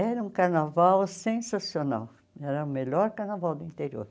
Era um carnaval sensacional, era o melhor carnaval do interior.